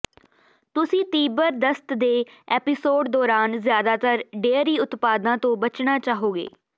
ਤੁਸੀਂ ਤੀਬਰ ਦਸਤ ਦੇ ਐਪੀਸੋਡ ਦੌਰਾਨ ਜ਼ਿਆਦਾਤਰ ਡੇਅਰੀ ਉਤਪਾਦਾਂ ਤੋਂ ਬਚਣਾ ਚਾਹੋਗੇ